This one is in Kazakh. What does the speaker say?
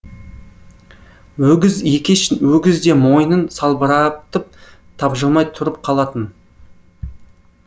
өгіз екеш өгіз де мойнын салбыратып тапжылмай тұрып қалатын